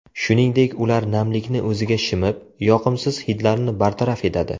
Shuningdek, ular namlikni o‘ziga shimib, yoqimsiz hidlarni bartaraf etadi.